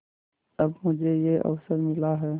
अब मुझे यह अवसर मिला है